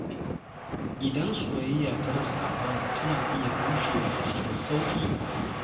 Idan soyayya ta rasa amana, tana iya rushewa cikin sauƙi.